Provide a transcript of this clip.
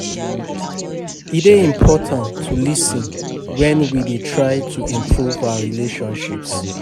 E dey important to lis ten wen we dey try to improve our relationships.